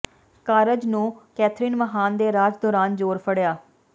ਕਾਰਜ ਨੂੰ ਕੈਥਰੀਨ ਮਹਾਨ ਦੇ ਰਾਜ ਦੌਰਾਨ ਜ਼ੋਰ ਫੜਿਆ